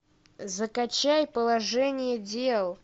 закачай положение дел